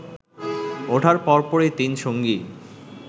ওঠার পরপরই তিনসঙ্গী